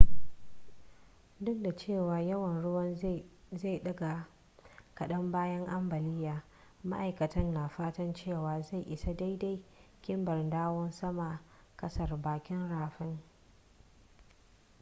duk da cewa yawan ruwan zai daga kadan bayan ambaliyar maaikatan na fatan cewa zai isa daidai kimar dawo saman kasar bakin rafin